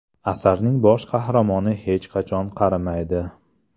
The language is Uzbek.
Asarning bosh qahramoni hech qachon qarimaydi.